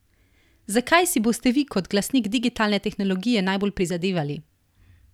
Za kaj si boste vi kot glasnik digitalne tehnologije najbolj prizadevali?